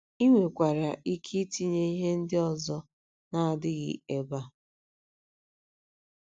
I nwekwara ike itinye ihe ndị ọzọ na - adịghị ebe a.